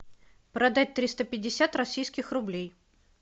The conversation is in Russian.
продать триста пятьдесят российских рублей